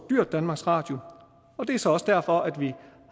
dyrt danmarks radio og det er så også derfor vi